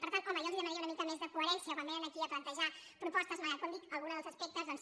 per tant home jo els demanaria una mica més de coherència quan vénen aquí a plantejar propostes malgrat que com dic alguns dels aspectes doncs